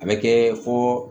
A bɛ kɛ fɔ